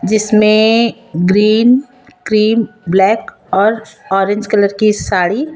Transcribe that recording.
जिसमें green cream black और orange colour की साड़ी--